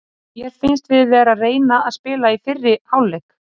Mér fannst við vera að reyna að spila í fyrri hálfleik.